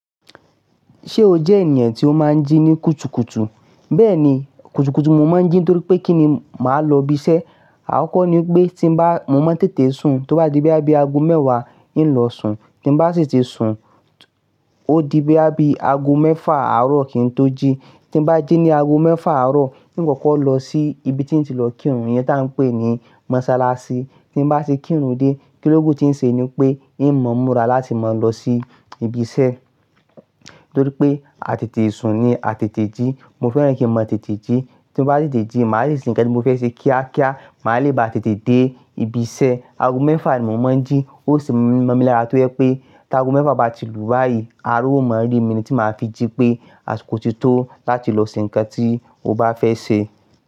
Ṣé o jẹ́ ènìyàn tí ó máa ń jí ní kùtùkùtù? Bẹ́ẹ̀ni, kùtùkùtù n mo máa ń jí nitorí pé kí ni màá lọ ibi iṣẹ́. Akọ́ko ni pé tí n bá, mo máa ń tètè sùn, tó bá di boya bí i ago mẹ́wàá, ń lọ sùn. Tí n bá sì ti sùn, ó di boya bí i ago mẹ́fà àárọ̀ kí n tó jí. Tí n bá jí ní ago mẹ́fà àárọ̀, ń kọ́kọ́ lọ sí ibi tí ń ti lọ kírun, iyẹn tí à ń pè ní mọ́sálásí. Tí n bá ti kírun dé, kíló kú tí ń ṣe ni pé ń mọ̀ mura láti máa lọ sí ibi iṣẹ́. Torí pé a tètè sùn ni a tètè jí. Mo fẹ́ràn kí mo tètè jí. Tí n bá tètè jí, màá le ṣe nǹkan tí mo fẹ́ ṣe kíákíá. Màá le bá tètè dé ibi iṣẹ́. Ago mẹ́fà ni mo máa ń jí. Ó ṣin mọ́ mi lára tó jẹ pé tí ago mẹ́fà bá ti lù báyìí, ara ó máa rí mi ni tí màá fi jí pé asikò tí tó láti lọ ṣe nǹkan tí o bá fẹ́ ṣe.